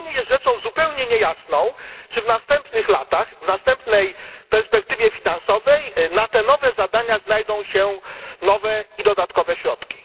Dla mnie jest rzeczą zupełnie niejasną, czy w następnych latach, w następnej perspektywie finansowej, na te nowe zadania znajdą się nowe i dodatkowe środki.